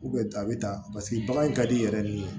a bɛ taa paseke bagan ka di i yɛrɛ de ye